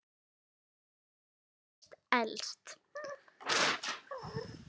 Hún var næst elst.